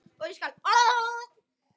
Eruð þið ekki með þetta?